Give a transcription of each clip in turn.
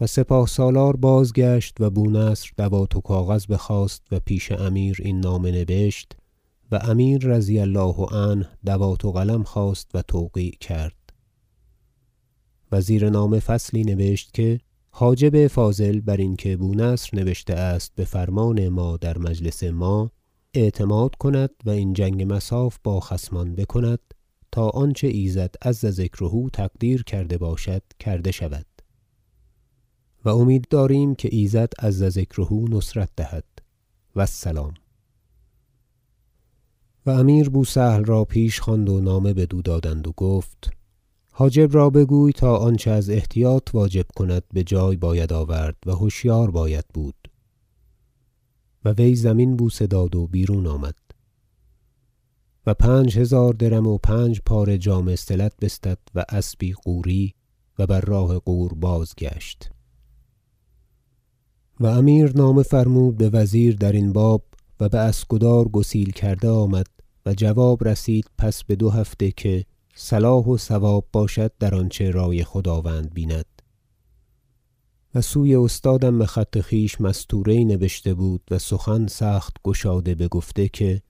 و سپاه- سالار بازگشت و بونصر دوات و کاغذ بخواست و پیش امیر این نامه نبشت و امیر رضی الله عنه دوات و قلم خواست و توقیع کرد و زیر نامه فصلی نبشت که حاجب فاضل بر این که بونصر نبشته است بفرمان ما در مجلس ما اعتماد کند و این جنگ مصاف با خصمان بکند تا آنچه ایزد عز ذکره تقدیر کرده باشد کرده شود و امید داریم که ایزد عز ذکره نصرت دهد و السلام و امیر بوسهل را پیش خواند و نامه بدو دادند و گفت حاجب را بگوی تا آنچه از احتیاط واجب کند بجای باید آورد و هشیار باید بود و وی زمین بوسه داد و بیرون آمد و پنج هزار درم و پنج پاره جامه صلت بستد و اسبی غوری و بر راه غور بازگشت و امیر نامه فرمود بوزیر درین باب و باسکدار گسیل کرده آمد و جواب رسید پس بدو هفته که صلاح و صواب باشد در آنچه رای خداوند بیند و سوی استادم بخط خویش مستوره یی نبشته بود و سخن سخت گشاده بگفته که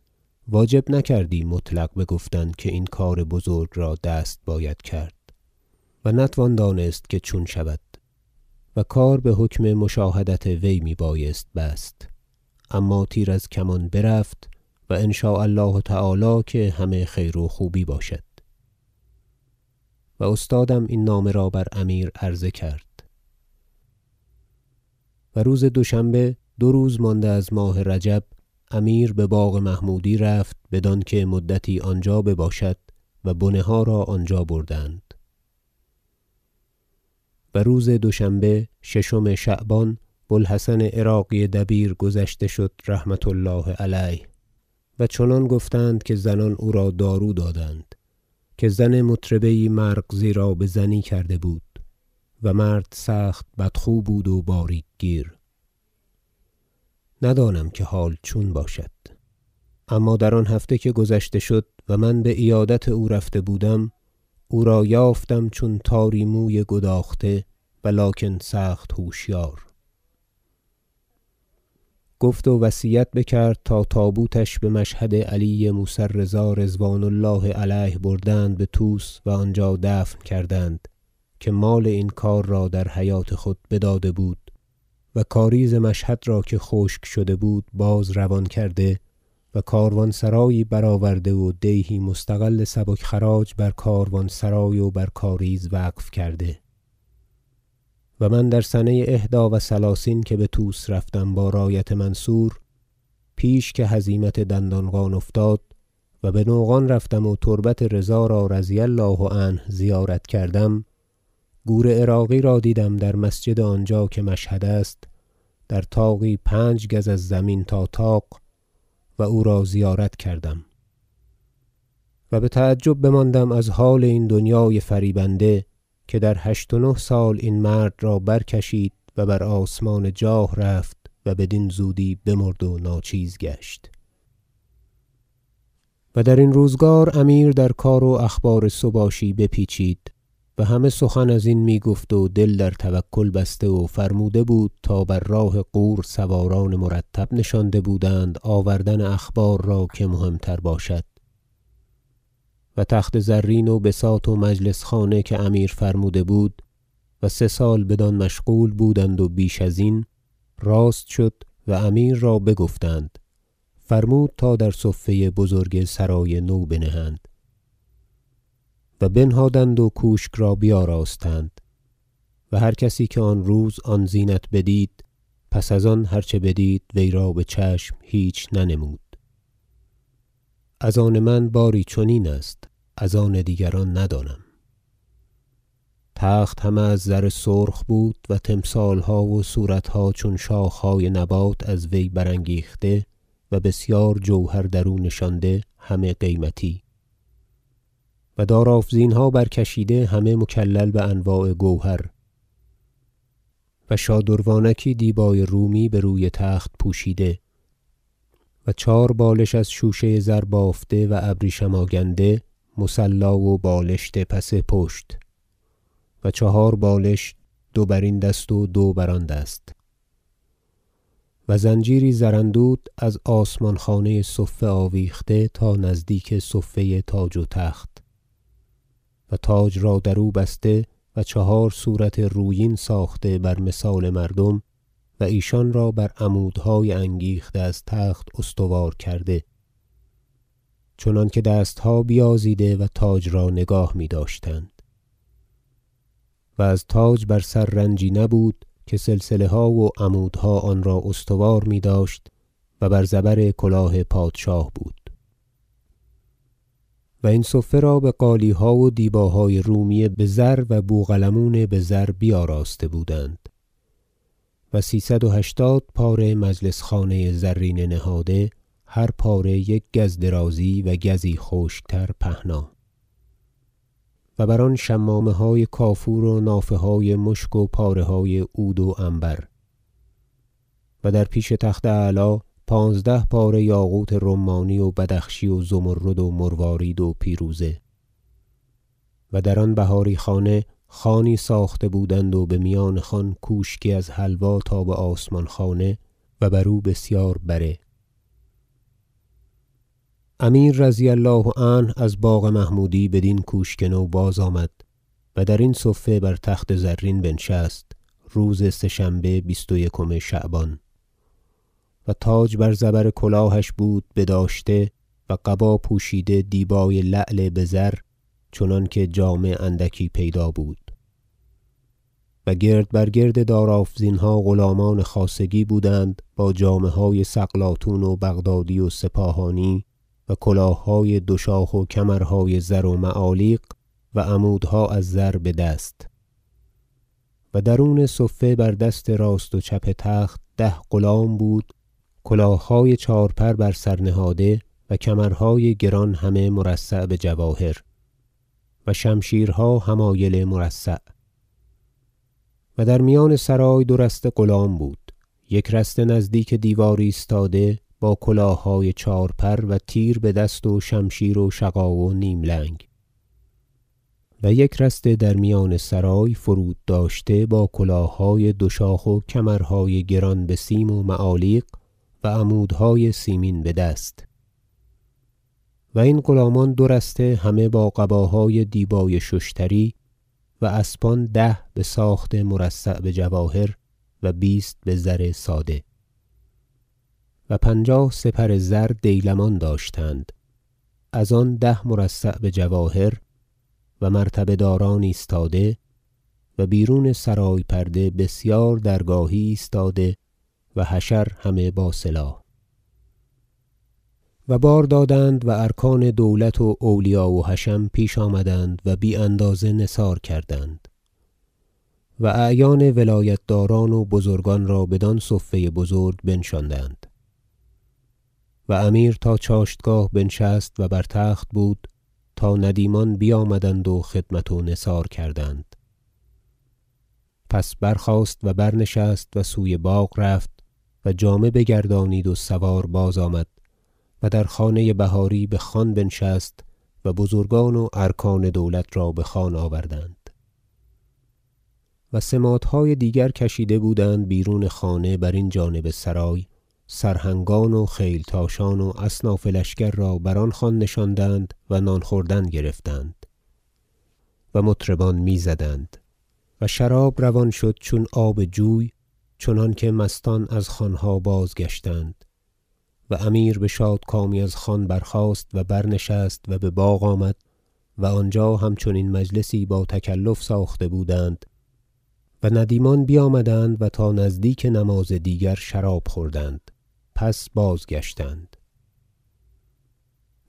واجب نکردی مطلق بگفتن که این کار بزرگ را دست باید کرد و نتوان دانست که چون شود و کار بحکم مشاهدت وی می بایست بست اما تیر از کمان برفت و ان شاء الله تعالی که همه خیر و خوبی باشد و استادم این نامه را بر امیر عرضه کرد و روز دوشنبه دو روز مانده از ماه رجب امیر بباغ محمودی رفت بدانکه مدتی آنجا بباشد و بنه ها را آنجا بردند و روز دوشنبه ششم شعبان بو الحسن عراقی دبیر گذشته شد رحمة الله علیه و چنان گفتند که زنان او را دارو دادند که زن مطربه یی مرغزی را بزنی کرده بود و مرد سخت بدخو بود و باریک گیر ندانم که حال چون باشد اما در آن هفته که گذشته شد و من بعیادت او رفته بودم او را یافتم چون تاری موی گداخته و لکن سخت هوشیار گفت و وصیت بکرد تا تابوتش بمشهد علی موسی الرضا رضوان الله علیه بردند بطوس و آنجا دفن کردند که مال این کار را در حیوة خود بداده بود و کاریز مشهد را که خشک شده بود باز روان کرده و کاروان سرایی برآورده و دیهی مستغل سبک خراج بر کاروانسرای و بر کاریز وقف کرده و من در سنه احدی و ثلثین که بطوس رفتم با رایت منصور پیش که هزیمت دندانقان افتاد و بنوقان رفتم و تربت رضا را رضی الله عنه زیارت کردم گور عراقی را دیدم در مسجد آنجا که مشهد است در طاقی پنج گز از زمین تا طاق و او را زیارت کردم و بتعجب بماندم از حال این دنیای فریبنده که در هشت و نه سال این مرد را برکشید و بر آسمان جاه رفت و بدین زودی بمرد و ناچیز گشت وصف تخت نو و بار دادن امیر و درین روزگار امیر در کار و اخبار سباشی به پیچید و همه سخن ازین میگفت و دل در توکل بسته و فرموده بود تا بر راه غور سواران مرتب نشانده بودند آوردن اخبار را که مهم تر باشد و تخت زرین و بساط و مجلس خانه که امیر فرموده بود و سه سال بدان مشغول بودند و بیش ازین راست شد و امیر را بگفتند فرمود تا در صفه بزرگ سرای نو بنهند و بنهادند و کوشک را بیاراستند و هر کسی که آن روز آن زینت بدید پس از آن هر چه بدید وی را بچشم هیچ ننمود از آن من باری چنین است از آن دیگران ندانم تخت همه از زر سرخ بود و تمثالها و صورتها چون شاخهای نبات از وی برانگیخته و بسیار جوهر درو نشانده همه قیمتی و دارافزینها برکشیده همه مکلل بانواع گوهر و شادروانکی دیبای رومی به روی تخت پوشیده و چهار بالش از شوشه زر بافته و ابریشم آگنده - مصلی و بالشت - پس پشت و چهار بالش دو برین دست و دو بر آن دست و زنجیری زراندود از آسمان خانه صفه آویخته تا نزدیک صفه تاج و تخت و تاج را در او بسته و چهار صورت رویین ساخته بر مثال مردم و ایشان را بر عمودهای انگیخته از تخت استوار کرده چنانکه دستها بیازیده و تاج را نگاه میداشتند و از تاج بر سر رنجی نبود که سلسله ها و عمودها آنرا استوار میداشت و بر زبر کلاه پادشاه بود و این صفه را بقالیها و دیباهای رومی بزر و بوقلمون بزر بیاراسته بودند و سیصد و هشتاد پاره مجلس خانه زرینه نهاده هر پاره یک گز درازی و گزی خشکتر پهنا و بر آن شمامه های کافور و نافه های مشک و پاره های عود و عنبر و در پیش تخت اعلی پانزده پاره یاقوت رمانی و بدخشی و زمرد و مروارید و پیروزه و در آن بهاری خانه خوانی ساخته بودند و بمیان خوان کوشکی از حلوا تا بآسمان خانه و بر او بسیار بره امیر رضی الله عنه از باغ محمودی بدین کوشک تو باز آمد و درین صفه بر تخت زرین بنشست روز سه شنبه بیست و یکم شعبان تاج بر زبر کلاهش بود بداشته و قبا پوشیده دیبای لعل بزر چنانکه جامه اندکی پیدا بود و گرد بر گرد دارافزینها غلامان خاصگی بودند با جامه های سقلاطون و بغدادی و سپاهانی و کلاههای دو شاخ و کمرهای زر و معالیق و عمودها از زر بدست و درون صفه بر دست راست و چپ تخت ده غلام بود کلاههای چهار پر بر سر نهاده و کمرهای گران همه مرصع بجواهر و شمشیرها حمایل مرصع و در میان سرای دو رسته غلام بود یک رسته نزدیک دیوار ایستاده با کلاههای چهار پر و تیر بدست و شمشیر و شقا و نیم لنگ و یک رسته در میان سرای فرود داشته با کلاههای دو شاخ و کمرهای گران بسیم و معالیق و عمودهای سیمین بدست و این غلامان دو رسته همه با قباهای دیبای ششتری و اسبان ده بساخت مرصع بجواهر و بیست بزر ساده و پنجاه سپر زر دیلمان داشتند از آن ده مرصع بجواهر و مرتبه داران ایستاده و بیرون سرای پرده بسیار درگاهی ایستاده و حشر همه با سلاح و بار دادند و ارکان دولت و اولیاء حشم پیش آمدند و بی اندازه نثار کردند و اعیان ولایتداران و بزرگان را بدان صفه بزرگ بنشاندند و امیر تا چاشتگاه بنشست و بر تخت بود تا ندیمان بیامدند و خدمت و نثار کردند پس برخاست و برنشست و سوی باغ رفت و جامه بگردانید و سوار بازآمد و در خانه بهاری بخوان بنشست و بزرگان و ارکان دولت را بخوان آوردند و سماطهای دیگر کشیده بودند بیرون خانه برین جانب سرای سرهنگان و خیلتاشان و اصناف لشکر را بر آن خوان نشاندند و نان خوردن گرفتند و مطربان میزدند و شراب روان شد چون آب جوی چنانکه مستان از خوانها بازگشتند و امیر بشاد کامی از خوان برخاست و برنشست و بباغ آمد و آنجا همچنین مجلسی با تکلف ساخته بودند و ندیمان بیامدند و تا نزدیک نماز دیگر شراب خوردند پس بازگشتند حرکت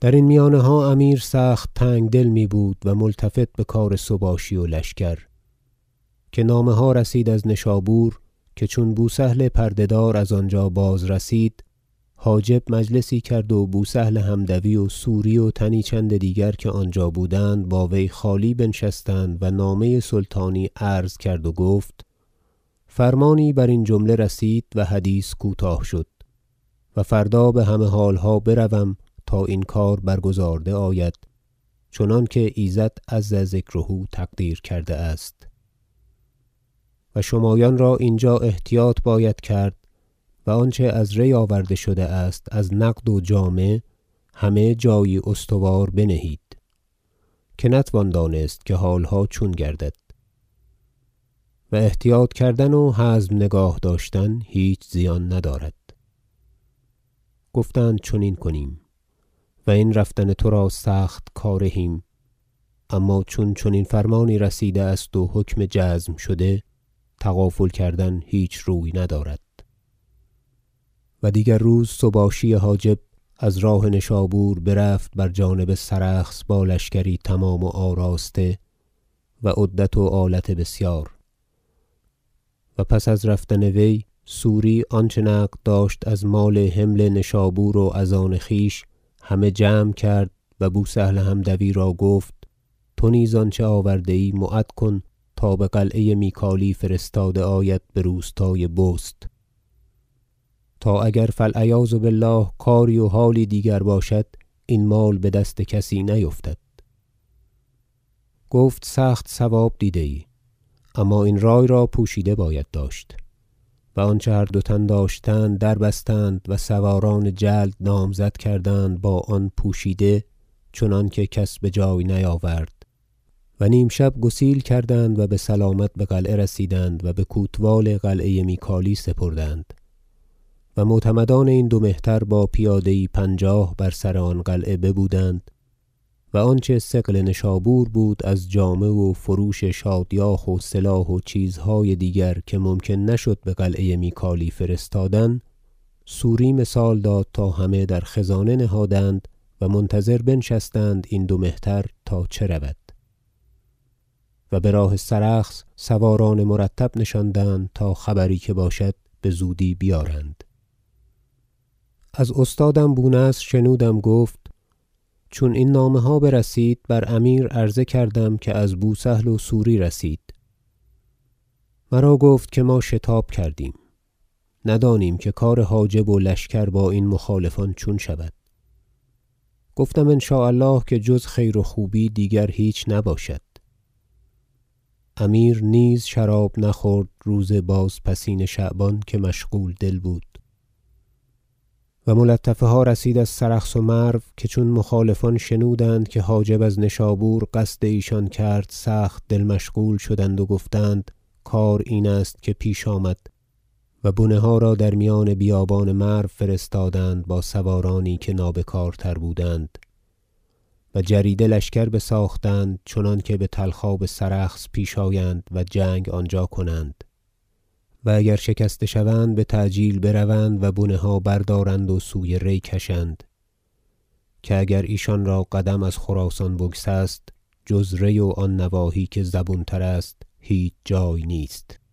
سباشی بجانب سرخس و درین میانها امیر سخت تنگدل میبود و ملتفت بکار سباشی و لشکر که نامه ها رسید از نشابور که چون بوسهل پرده دار از آنجا باز رسید حاجب مجلسی کرد و بوسهل حمدوی و سوری و تنی چند دیگر که آنجا بودند با وی خالی بنشستند و نامه سلطانی عرض کرد و گفت فرمانی برین جمله رسید و حدیث کوتاه شد و فردا بهمه حالها بروم تا این کار برگزارده آید چنانکه ایزد عز ذکره تقدیر کرده است و شمایان را اینجا احتیاط باید کرد و آنچه از ری آورده شده است از نقد و جامه همه جایی استوار بنهید که نتوان دانست که حالها چون گردد و احتیاط کردن و حزم نگاه داشتن هیچ زیان ندارد گفتند چنین کنیم و این رفتن ترا سخت کارهیم اما چون چنین فرمانی رسیده است و حکم جزم شده تغافل کردن هیچ روی ندارد و دیگر روز سباشی حاجب از راه نشابور برفت بر جانب سرخس با لشکری تمام و آراسته و عدت و آلت بسیار و پس از رفتن وی سوری آنچه نقد داشت از مال حمل نشابور و از آن خویش همه جمع کرد و بوسهل حمدوی را گفت تو نیز آنچه آورده ای معد کن تا بقلعه میکالی فرستاده آید بروستای بست تا اگر فالعیاذ بالله کاری و حالی دیگر باشد این مال بدست کسی نیفتد گفت سخت صواب دیده ای اما این رای را پوشیده باید داشت و آنچه هر دو تن داشتند در بستند و سواران جلد نامزد کردند با آن پوشیده چنانکه کس بجای نیاورد و نیمشب گسیل کردند و بسلامت بقلعه رسیدند و بکوتوال قلعه میکالی سپردند و معتمدان این دو مهتر با پیاده یی پنجاه بر سر آن قلعه ببودند و آنچه ثقل نشابور بود از جامه و فروش شادیاخ و سلاح و چیزهای دیگر که ممکن نشد بقلعه میکالی فرستادن سوری مثال داد تا همه در خزانه نهادند و منتظر بنشستند این دو مهتر تا چه رود و براه سرخس سواران مرتب نشاندند تا خبری که باشد بزودی بیارند از استادم بونصر شنودم گفت چون این نامه ها برسید بر امیر عرضه کردم که از بوسهل و سوری رسید مرا گفت که ما شتاب کردیم ندانیم که کار حاجب و لشکر با این مخالفان چون شود گفتم ان شاء الله که جز خیر و خوبی دیگر هیچ نباشد امیر نیز شراب نخورد روز بازپسین شعبان که مشغول دل بود و ملطفه ها رسید از سرخس و مرو که چون مخالفان شنودند که حاجب از نشابور قصد ایشان کرد سخت دل مشغول شدند و گفتند کار این است که پیش آمد و بنه ها را در میان بیابان مرو فرستادند با سوارانی که نابکارتر بودند و جریده لشکر بساختند چنانکه بطلخاب سرخس پیش آیند و جنگ آنجا کنند و اگر شکسته شوند بتعجیل بروند و بنه ها بردارند و سوی ری کشند که اگر ایشان را قدم از خراسان بگسست جز ری و آن نواحی که زبون تر است هیچ جای نیست